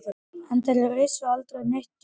En það ristir aldrei neitt djúpt.